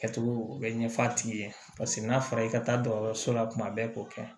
Kɛcogo u bɛ ɲɛ f'a tigi ye paseke n'a fɔra i ka taa dɔgɔtɔrɔso la tuma bɛɛ k'o kɛ